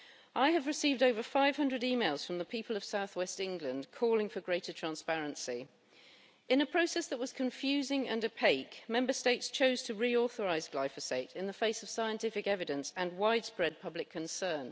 I have received more than 500 emails from the people of South West England calling for greater transparency. In a process that was confusing and opaque, Member States chose to reauthorise glyphosate in the face of scientific evidence and widespread public concern.